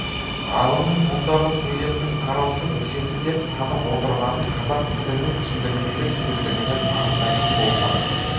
ғалымның мұндағы сөйлемнің құраушы мүшесі деп танып отырғанын қазақ тілінің түсіндірмелі сөздігінен анықтайтын болсақ